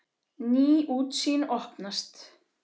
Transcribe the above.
Ný útsýn opnast.